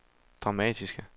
dramatiske